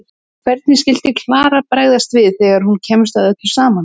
Hvernig skyldi Klara bregðast við þegar hún kemst að öllu saman?